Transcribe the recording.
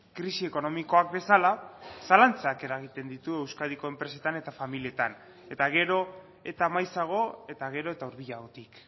krisi ekonomikoak bezala zalantzak eragiten ditu euskadiko enpresetan eta familietan eta gero eta maizago eta gero eta hurbilagotik